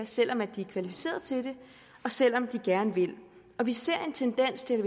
selv om de er kvalificerede til det og selv om de gerne vil vi ser en tendens til